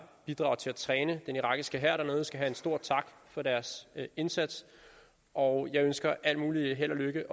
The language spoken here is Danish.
bidrager til at træne den irakiske hær dernede skal have en stor tak for deres indsats og jeg ønsker også al mulig held og lykke